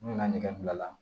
N'u ka nɛgɛ bila la